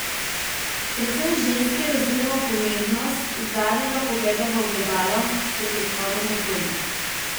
Predvsem ženske razumemo pomembnost zadnjega pogleda v ogledalo pred odhodom od doma.